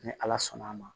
Ni ala sɔnn'a ma